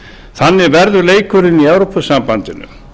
þannig verður leikurinn í evrópusambandinu